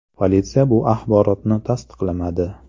Politsiya bu axborotni tasdiqlamadi.